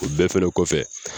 O bɛɛ fɛrɛ kɔfɛ